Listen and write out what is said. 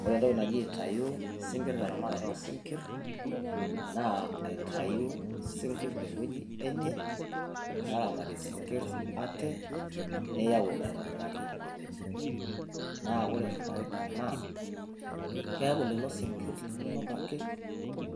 wore entoki naji aintayu teramatata osinkirr naa aitayu isinkirr tewueji enye neramati sinkirr ate, niyauu aitobiraki ewueji. naa wore faida naa keaku lelo sinkirr linonok ake